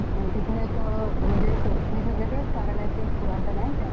हो इथे जाऊ शकतो आपण एका दिवसात सगळे छोटे छोटे पण मंदिर आहेत तिथे